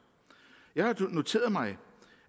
jeg har noteret mig